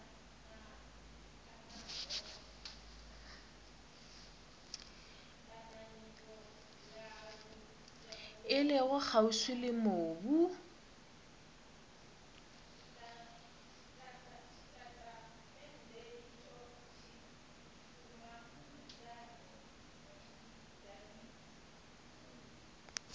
e lego kgauswi le mobu